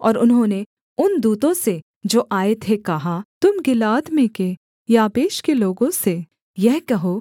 और उन्होंने उन दूतों से जो आए थे कहा तुम गिलाद में के याबेश के लोगों से यह कहो